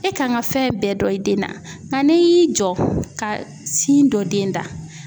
E kan ka fɛn bɛɛ dɔn i den na nka n'i y'i jɔ ka sin don den da